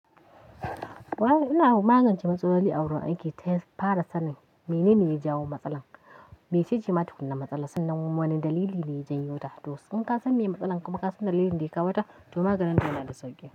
Wa ina magance matsalar aure ake tafi fara sanin menene ya jawo matsalar. Mece ce matukun na matsala sannan wane dalili ne ya janyo ta. To in kasan meye matsalar kuma kasance dalilin ke kawata, to maganinta yana da sauƙi.